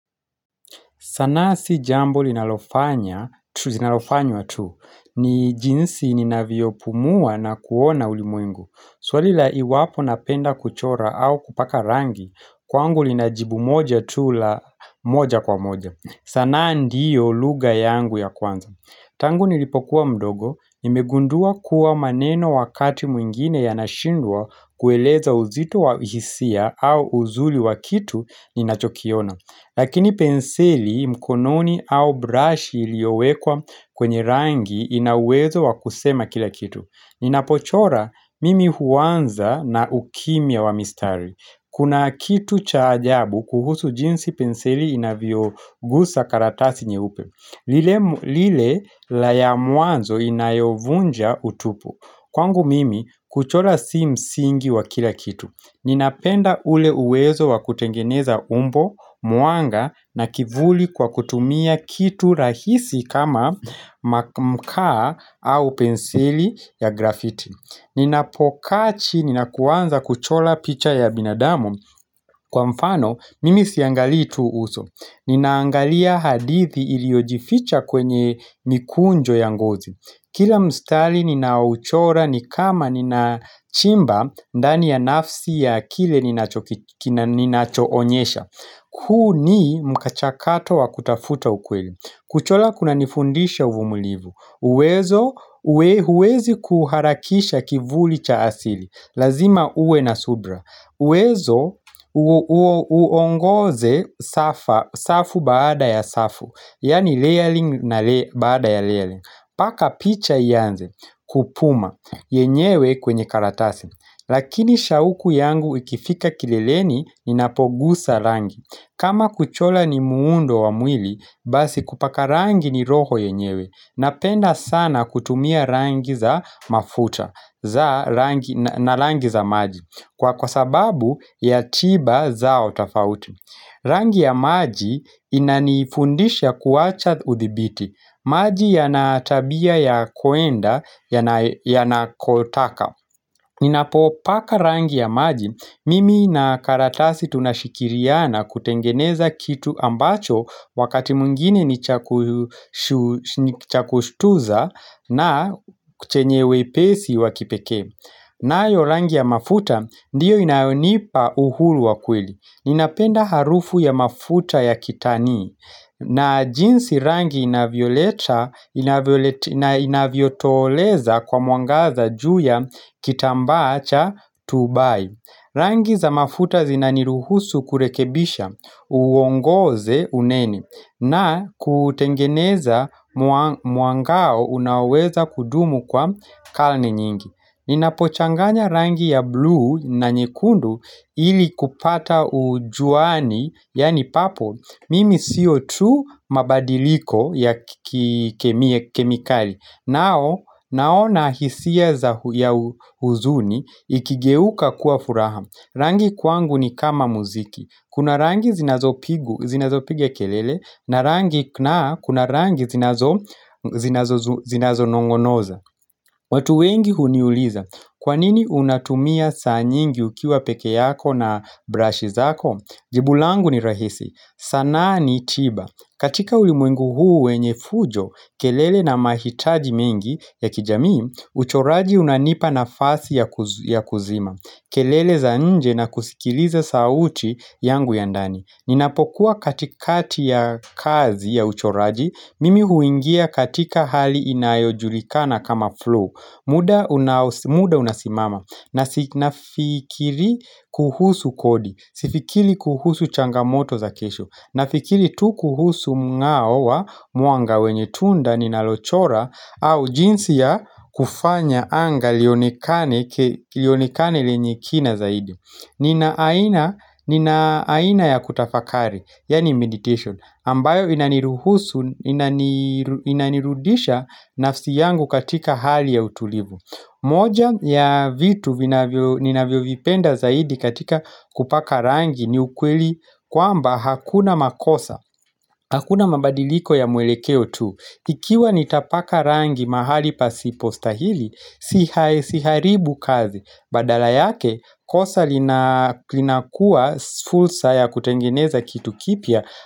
Sanaa si jambo linalofanya, tu linalofanywa tu, ni jinsi ninavyopumua na kuona ulimwengu. Swali la iwapo napenda kuchora au kupaka rangi, kwangu lina jibu moja tu la moja kwa moja. Sanaa ndiyo lugha yangu ya kwanza. Tangu nilipokuwa mdogo, nimegundua kuwa maneno wakati mwingine yanashindwa kueleza uzito wa hisia au uzuli wa kitu ninachokiona. Lakini penseli mkononi au brush iliyowekwa kwenye rangi ina uwezo wa kusema kila kitu. Ninapochora mimi huanza na ukimya wa mistari. Kuna kitu cha ajabu kuhusu jinsi penseli inavyogusa karatasi nyeupe. Lile la ya mwanzo inayovunja utupu. Kwangu mimi kuchora si msingi wa kila kitu. Ninapenda ule uwezo wa kutengeneza umbo, mwanga na kivuli kwa kutumia kitu rahisi kama mkaa au penseli ya graffiti Ninapokaa chini na kuanza kuchola picha ya binadamu kwa mfano mimi siangalii tu uso Ninaangalia hadithi iliyojificha kwenye mikunjo ya ngozi Kila mstari ninauchora ni kama ninachimba ndani ya nafsi ya kile ninachoonyesha huu ni mkachakato wa kutafuta ukweli Kuchola kunanifundisha uvumilivu uwezo uwezi kuharakisha kivuli cha asili Lazima uwe na subra uwezo uongoze safu baada ya safu Yaani layering na baada ya layering Paka picha ianze, kupuma, yenyewe kwenye karatasi Lakini shauku yangu ikifika kileleni ninapogusa rangi kama kuchola ni muundo wa mwili, basi kupaka rangi ni roho yenyewe Napenda sana kutumia rangi za mafuta na rangi za maji Kwa kwa sababu ya chiba zao tafauti Rangi ya maji inanifundisha kuacha udhibiti maji yana tabia ya kuenda, yanakotaka Ninapopaka rangi ya maji, mimi na karatasi tunashikiriana kutengeneza kitu ambacho wakati mwengine ni cha kushtuza na ku chenye wepesi wa kipekee nayo rangi ya mafuta, ndiyo inayonipa uhulu wa kweli Ninapenda harufu ya mafuta ya kitani na jinsi rangi inavyotoleza kwa meangaza juu ya kitambaa cha tubai Rangi za mafuta zinaniruhusu kurekebisha uongoze uneni na kutengeneza mwangao unaoweza kudumu kwa kalne nyingi Ninapochanganya rangi ya blue na nyekundu ili kupata ujuani Yaani papo, mimi sio tu mabadiliko ya kemiye kemikali Naona hisia ya huzuni ikigeuka kuwa furaha Rangi kwangu ni kama muziki Kuna rangi zinazopigu zinazopiga kelele na rangi naa, kuna rangi zinazonong'onoza watu wengi huniuliza Kwa nini unatumia saa nyingi ukiwa peke yako na brashi zako Jibu langu ni rahisi. Sanaa ni tiba. Katika ulimwengu huu wenye fujo, kelele na mahitaji mengi ya kijamii, uchoraji unanipa nafasi ya kuzima. Kelele za nje na kusikiliza sauti yangu ya ndani. Ninapokuwa katikati ya kazi ya uchoraji, mimi huingia katika hali inayojulikana kama flow muda unasimama na sifikiri kuhusu kodi, sifikiri kuhusu changamoto za kesho Nafikiri tu kuhusu mng'ao wa, mwanga wenye tunda, ninalochora au jinsi ya kufanya anga lionekane lenye kina zaidi Nina aina ya kutafakari, yaani meditation, ambayo inaniruhusu, inanirudisha nafsi yangu katika hali ya utulivu. Moja ya vitu ninavyovipenda zaidi katika kupaka rangi ni ukweli kwamba hakuna makosa, hakuna mabadiliko ya mwelekeo tu. Ikiwa nitapaka rangi mahali pasipostahili, siharibu kazi. Badala yake, kosa linakuwa fulsa ya kutengeneza kitu kipya.